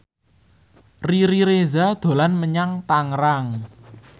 Riri Reza dolan menyang Tangerang